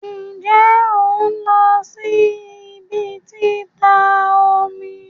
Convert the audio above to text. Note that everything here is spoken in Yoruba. Nje on lo si ibi tita omi?